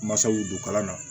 Masaw don kalan na